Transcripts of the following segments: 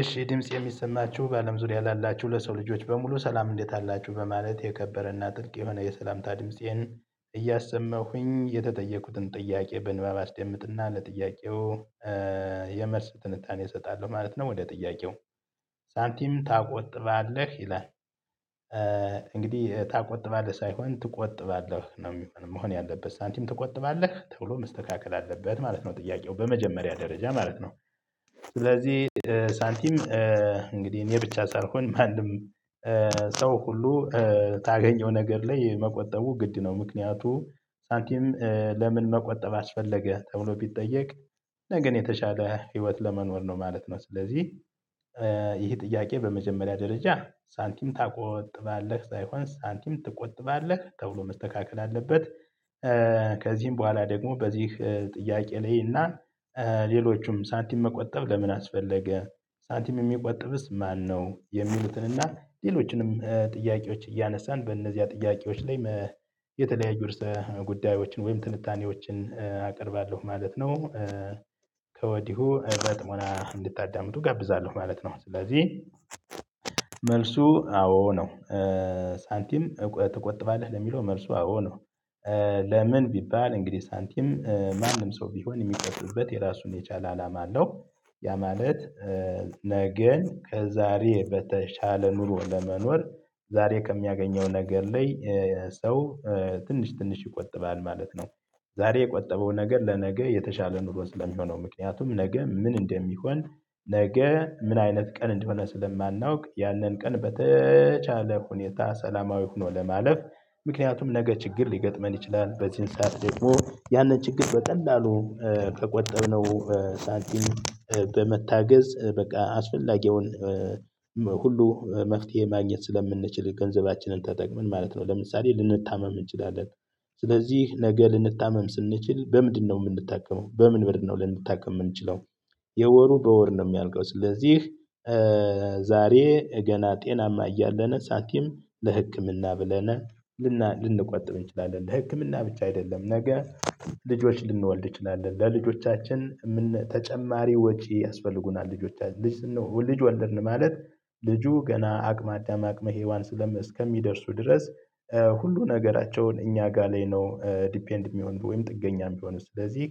እሺ ድምጽ የሚሰማችሁ በአለም ዙሪያ ላላችሁ ለሰው ልጆች በሙሉ ሰላም እንዴት አላችሁ በማለት የከበረና ጥልቅ የሆነ የሰላምታ ድምፄን እያሰማሁኝ የተጠየቁትን ጥያቄ በንባብ አስደምጥና ለጥያቄው የመልስ ትንታኔ እሰጣለሁ ማለት ነው። ወደ ጥያቄው ሳንቲም ታቆጥባለህ ይላል? እንግዲህ ታቆጥባለህ ሳይሆን ትቆጥባለህ ነው የሚሆን መሆን ያለበት ሳንቲም ትቆጥባለህ ተብሎ መስተካከል አለበት ማለት ነው ጥያቄው በመጀመሪያ ደረጃ ማለት ነው። ስለዚህ ሳንቲም እንግዲህ እኔ ብቻ ሳልሆን ማንም ሰው ሁሉ ታገኘው ነገር ላይ መቆጠቡ ግድ ነው። ምክንያቱም ሳንቲም ለምን መቆጠብ አስፈለገ ተብሎ ቢጠየቅ? ነገን የተሻለ ህይወት ለመኖር ነው ማለት ነው። ስለዚህ ይህ ጥያቄ በመጀመሪያ ደረጃ ሳንቲም ታቆጥባለህ ሳይሆን ሳንቲም ትቆጥባለህ ተብሎ መስተካከል አለበት። ከዚህም በኋላ ደግሞ በዚህ ጥያቄ ላይ እና ሌሎችም ሳንቲም መቆጠብ ለምን አስፈለገ? ሳንቲም የሚቆጥብስ ማነው የሚሉትንና ሌሎችንም ጥያቄዎች እያነሳን በእነዚያ ጥያቄዎች ላይ የተለያዩ ርዕሰ ጉዳዮችን ወይም ትንታኔዎችን አቀርባለሁ ማለት ነው። ከወዲሁ በጥሞና እንድታዳምጡ እጋብዛለሁ ማለት ነው። ስለዚህ መልሱ አዎ ነው። ሳንቲም ትቆጥባለህ ለሚለው መልሱ አዎ ነው። ለምን ቢባል እንግዲህ ሳንቲም ማንም ሰው ቢሆን የሚቆጥብበት የራሱን የቻለ አላማ አለው። ያ ማለት ነገን ከዛሬ በተሻለ ኑሮ ለመኖር ዛሬ ከሚያገኘው ነገር ላይ ሰው ትንሽ ትንሽ ይቆጥባል ማለት ነው። ዛሬ የቆጠበው ነገር ለነገ የተሻለ ኑሮ ስለሚሆነው ምክንያቱም ነገ ምን እንደሚሆን ነገ ምን አይነት ቀን እንደሆነ ስለማናውቅ ያንን ቀን በተቻለ ሁኔታ ሰላማዊ ሆኖ ለማለፍ ምክንያቱም ነገ ችግር ሊገጥመን ይችላል። በዚህን ሰዓት ደግሞ ያንን ችግር በቀላሉ ከቆጠብነው ሳቲም በመታገዝ በቃ አስፈላጊውን ሁሉ መፍትሄ ማግኘት ስለምንችል ገንዘባችንን ተጠቅመን ማለት ነው። ለምሳሌ ልንታመም እንችላለን ስለዚህ ነገ ልንታመም ስንችል በምንድነው የምንጠቀመው በምን ብር ነው ልንታከም የምንችለው? የወሩ በወር ነው የሚያልቀው ስለዚህ። ዛሬ ገና ጤናማ እያለን ሳቲም ለህክምና ብለን ልንቆጥብ እንችላለን። ለህክምና ብቻ አይደለም። ነገ ልጆች ልንወልድ እንችላለን ለልጆቻችን ተጨማሪ ወጪ ያስፈልጉናል። ልጆቻችን ልጅ ልጅ ወለድ ማለት ልጁ ገና አቅመ አዳም አቅመ ሄዋን ስለም እስከሚደርሱ ድረስ ሁሉ ነገራቸውን እኛ ጋር ላይ ነው ዲፔንድ የሚሆን ወይም ጥገኛም ቢሆን ስለዚህ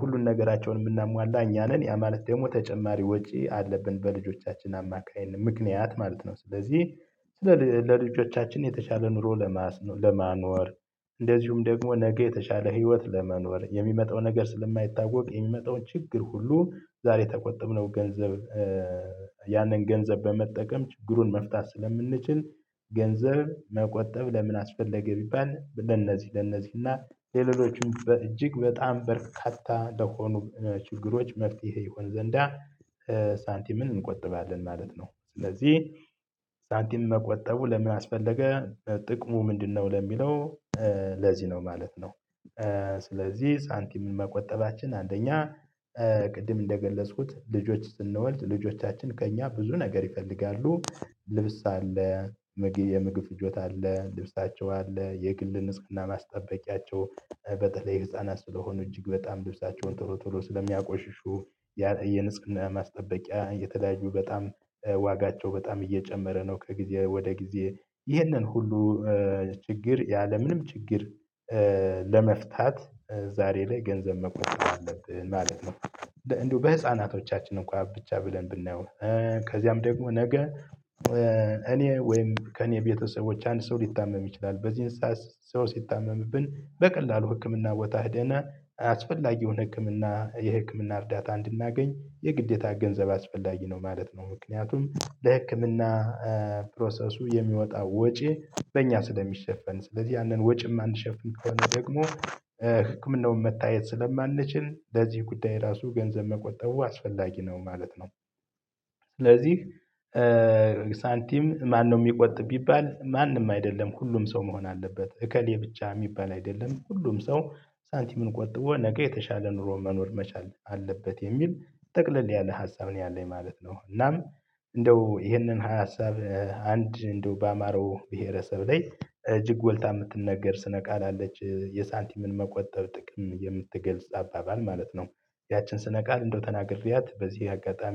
ሁሉን ነገራቸውን የምናሟላ እኛ ነን። ያ ማለት ደግሞ ተጨማሪ ወጪ አለብን በልጆቻችን አማካኝነት ምክንያት ማለት ነው። ስለዚህ ለ ለልጆቻችን የተሻለ ኑሮ ለማስ ለማኖር እንደዚሁም ደግሞ ነገ የተሻለ ህይወት ለመኖር የሚመጣው ነገር ስለማይታወቅ የሚመጣውን ችግር ሁሉ ዛሬ ከቆጥብነው ገንዘብ ያንን ገንዘብ በመጠቀም ችግሩን መፍታት ስለምንችል። ገንዘብ መቆጠብ ለምን አስፈለገ? ቢባል ለነዚህ ለነዚህ እና ለሌሎችም በእጅግ በጣም በርካታ ለሆኑ ችግሮች መፍትሄ ይሆን ዘንዳ ሳንቲምን እንቆጥባለን ማለት ነው። ስለዚህ ሳንቲም መቆጠቡ ለምን አስፈልገ? ጥቅሙ ምንድነው ለሚለው ለዚህ ነው ማለት ነው። ስለዚህ ሳንቲም መቆጠባችን አንደኛ ቅድም እንደገለጽኩት ልጆች ስንወልድ ልጆቻችን ከእኛ ብዙ ነገር ይፈልጋሉ። ልብስ አለ የምግብ ፍጆታ አለ ልብሳቸው አለ የግል ንጽህና ማስጠበቂያቸው በተለይ ህፃናት ስለሆኑ እጅግ በጣም ልብሳቸውን ቶሎ ቶሎ ስለሚያቆሽሹ። የንጽህና ማስጠበቂያ የተለያዩ በጣም ዋጋቸው በጣም እየጨመረ ነው። ከጊዜ ወደ ጊዜ ይሄንን ሁሉ ችግር ያለምንም ችግር ለመፍታት ዛሬ ላይ ገንዘብ መቆጠብ አለብን ማለት ነው። እንደው በህፃናቶቻችን እንኳን ብቻ ብለን ብናየው። ከዚያም ደግሞ ነገ እኔ ወይም ከእኔ ቤተሰቦች አንድ ሰው ሊታመም ይችላል። በዚህም ሰው ሲታመምብን በቀላሉ ህክምና ቦታ ሂደን አስፈላጊ የሆነ ህክምና የህክምና እርዳታ እንድናገኝ የግዴታ ገንዘብ አስፈላጊ ነው ማለት ነው። ምክንያቱም ለህክምና ፕሮሰሱ የሚወጣው ወጪ በእኛ ስለሚሸፈን ስለዚህ ያንን ወጪ ማንሸፍን ከሆነ ደግሞ ህክምናውን መታየት ስለማንችል ለዚህ ጉዳይ ራሱ ገንዘብ መቆጠቡ አስፈላጊ ነው ማለት ነው። ስለዚህ ሳንቲም ማነው የሚቆጥብ ቢባል? ማንም አይደለም ሁሉም ሰው መሆን አለበት እከሌ ብቻ የሚባል አይደለም ሁሉም ሰው ሳንቲምን ቆጥቦ ነገ የተሻለ ኑሮ መኖር መቻል አለበት። የሚል ጠቅለል ያለ ሀሳብ ነው ያለኝ ማለት ነው። እናም እንደው ይሄንን ሀሳብ አንድ እንደው ባማራው ብሄረሰብ ላይ እጅግ ጎልታ የምትነገር ስነ ቃል አለች የሳንቲምን መቆጠብ ጥቅም የምትገልጽ አባባል ማለት ነው። ያችን ስነ ቃል እንደው ተናግሬያት በዚህ አጋጣሚ